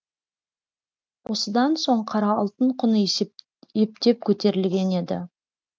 осыдан соң қара алтын құны ептеп көтерілген еді